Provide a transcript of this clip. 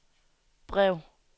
brev